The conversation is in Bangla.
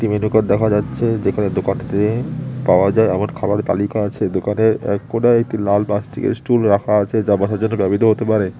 একটি মেনু কার্ড দেখা যাচ্ছে যেখানে দোকানটাতে পাওয়া যায় আবার খাবার তালিকা আছে দোকানে এক কোনায় একটি লাল প্লাস্টিকের স্টুল রাখা আছে যা বসার জন্য ব্যবহৃত হতে পারে।